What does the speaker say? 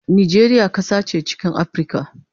Najeriya kasa che chikin Aprica